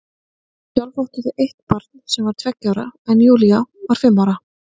Sjálf áttu þau eitt barn sem var tveggja ára en Júlía var fimm ára.